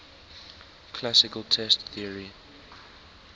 classical test theory